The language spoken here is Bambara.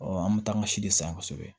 an bɛ taa an ka si de san kosɛbɛ